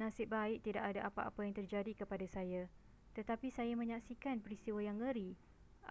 nasib baik tidak ada apa-apa yang terjadi kepada saya tetapi saya menyaksikan peristiwa yang ngeri